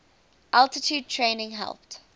altitude training helped